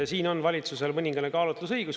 Siin on valitsusel mõningane kaalutlusõigus.